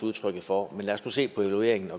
udtryk for men lad os nu se på evalueringen